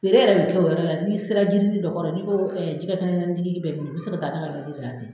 Feere yɛrɛ de tɛ o yɔrɔ la n'i sera jirinin dɔ kɔrɔ ye n'i ko jɛgɛ kɛnɛ kɛnɛni tigi bɛ min u bɛ sin ka taa ne ka yɔrɔnin yira i la ten.